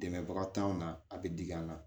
Dɛmɛbaga t'anw na a be digi an na